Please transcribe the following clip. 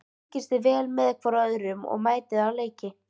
Fylgist þið vel með hvorum öðrum og mætið á leiki?